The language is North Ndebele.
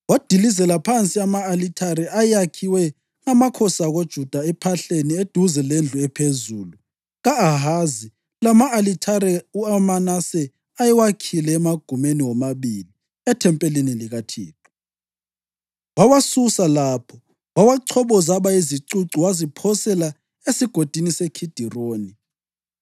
Wadilizela phansi ama-alithare ayakhiwe ngamakhosi akoJuda ephahleni eduze lendlu ephezulu ka-Ahazi lama-alithare uManase ayewakhile emagumeni womabili ethempeli likaThixo. Wawasusa lapho, wawachoboza, aba yizicucu waziphosela eSigodini seKhidironi.